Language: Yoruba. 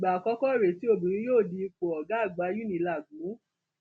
ìgbà àkọkọ rèé tí obìnrin yóò di ipò ọgá àgbà unilag mú